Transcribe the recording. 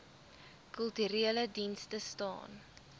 kulturele dienste staan